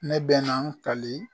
Ne bɛna n kali.